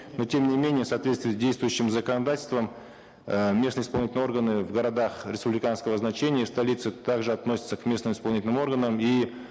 но тем не менее в соответствии с действующим законодательством э местные исполнительные органы в городах республиканского значения столица также относится к местным исполнительным органам и